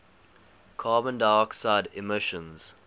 carbon dioxide emissions